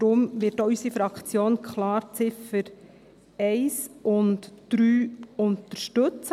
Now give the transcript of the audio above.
Darum wird auch unsere Fraktion klar die Ziffern 1 und 3 als Motion unterstützen.